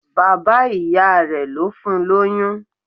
Bàbá ìyá rẹ̀ ló fún lóyún.